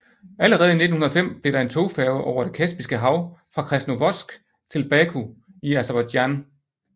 Allerede i 1905 blev der en togfærge over Det Kaspiske Hav fra Krasnovodsk til Baku i Aserbajdsjan